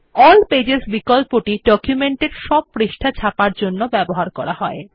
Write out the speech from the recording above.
all pages বিকল্পটি ডকুমেন্টের সব পৃষ্ঠা ছাপার জন্য ব্যবহার করা হয়